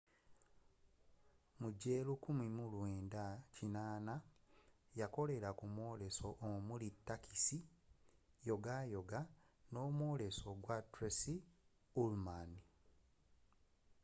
mu gwe 1980 yakolera ku myoleso omuli taxi, yogayoga nomwoles gwa tracy ullman